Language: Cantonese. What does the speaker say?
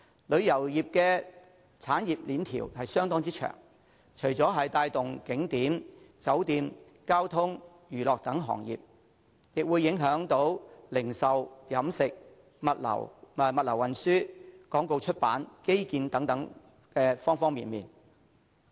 旅遊業的產業鏈相當長，除了帶動景點、酒店、交通及娛樂等行業，亦會影響零售、飲食、物流運輸、廣告出版及基建等各方面。